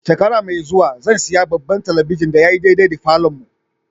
Shekara mai zuwa zan siya babban telibijin da ya yi daidai da falon mu.